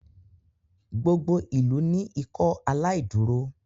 gbogbo ilú ni Ikọaláìdúró.